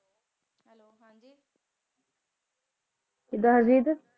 ਕਿੱਦਾਂ ਹਰਜੀਤ?